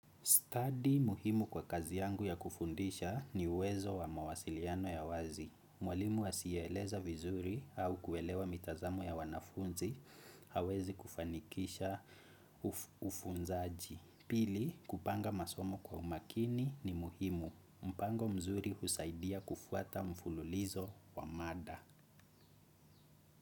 Study muhimu kwa kazi yangu ya kufundisha ni uwezo wa mawasiliano ya wazi. Mwalimu asiyeeleza vizuri au kuelewa mitazamo ya wanafunzi hawezi kufanikisha ufunzaji. Pili, kupanga masomo kwa umakini ni muhimu. Mpango mzuri husaidia kufuata mfululizo wa mada.